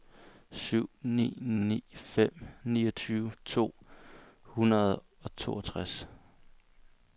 syv ni ni fem niogtyve to hundrede og toogtres